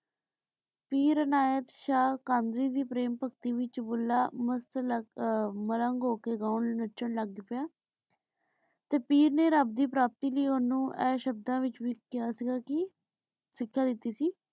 ਪੀਰ ਅਨਾਯਤ ਸ਼ਾਹ ਕਮਲੀ ਦੀ ਪੀਰ ਭਗਤੀ ਪਿਚੁਨ ਭੁੱਲਾ ਮਲੰਗ ਹੋ ਕੇ ਗਾਂ ਨਾਚਾਂ ਲਾਗ ਪਾਯਾ ਤੇ ਪੀਰ ਨੇ ਰਾਬ ਦੀ ਪ੍ਰਾਪਤੀ ਲੈ ਓਨੁ ਆਯ ਸ਼ਬਦਾਂ ਵਿਚ ਵੀ ਕਹਯ ਸੀਗਾ ਕੀ ਸਿਖਯ ਦਿਤੀ ਸੀ